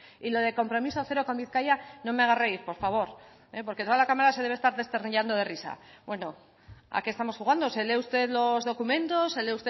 y lo de compromiso cero con bizkaia no me haga reír por favor porque toda la cámara se debe estar desternillando de risa bueno a qué estamos jugando se lee usted los documentos se lee